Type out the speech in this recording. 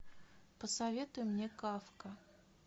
посоветуй мне кафка